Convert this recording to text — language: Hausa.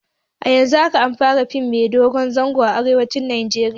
A yanzun haka an fara fim mai dogon zango a arewacin Najeriya